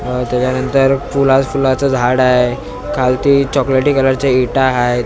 त्याच्यानंतर फुला फुलांच झाड आहे खालती चॉकलेटी कलर च्या इटा आहेत.